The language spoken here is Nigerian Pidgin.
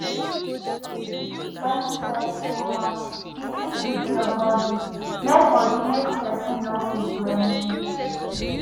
when stress too much e fit weak your body make body make person no fit do anything